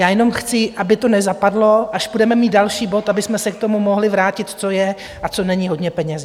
Já jenom chci, aby to nezapadlo, až budeme mít další bod, abychom se k tomu mohli vrátit, co je a co není hodně peněz.